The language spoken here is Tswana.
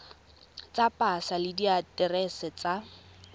tsa pasa le diaterese tsa